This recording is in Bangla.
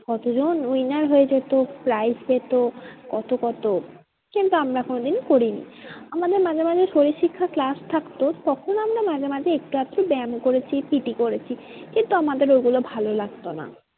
কতজন winner হয়ে যেত prize পেতো কত কত কিন্তু আমরা কোনোদিন করিনি। আমাদের মাঝে মাঝে শরীরশিক্ষা class থাকতো তখন আমরা মাঝে মাঝে একটু আধটু ব্যাম করেছি PT করেছি। কিন্তু আমাদের ওইগুলো ভালো লাগতো না।